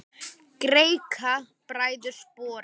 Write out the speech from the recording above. Greikka bræður sporið.